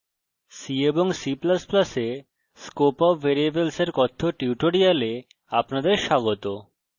c এবং c ++ এ scope of ভ্যারিয়েবলসের কথ্য tutorial আপনাদের স্বাগত